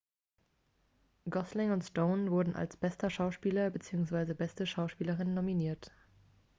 gosling und stone wurden als bester schauspieler beziehungsweise beste schauspielerin nominiert